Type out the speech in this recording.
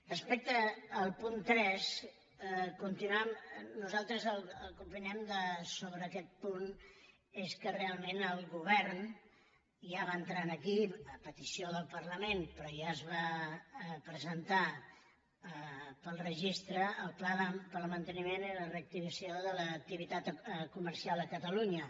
respecte al punt tres nosaltres el que opinem sobre aquest punt és que realment el govern ja va entrar aquí a petició del parlament però ja es va presentar per registre el pla per al manteniment i la reactivació de l’activitat comercial a catalunya